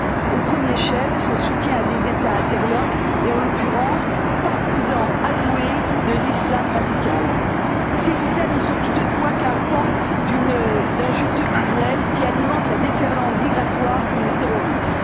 Au premier chef, son soutien à des États interlopes et, en l'occurrence, partisans avoués de l'islam radical. Ces visas ne sont toutefois qu'un pan d'un juteux business qui alimente la déferlante migratoire comme le terrorisme.